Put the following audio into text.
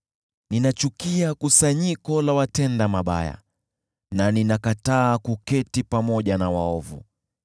ninachukia kusanyiko la watenda mabaya na ninakataa kuketi pamoja na waovu.